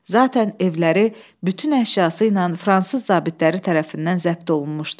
Zatən evləri bütün əşyası ilə fransız zabitləri tərəfindən zəbt olunmuşdu.